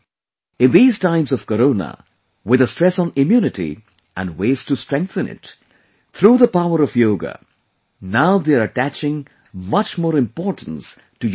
In these times of Corona, with a stress on immunity and ways to strengthen it, through the power of Yoga, now they are attaching much more importance to Yoga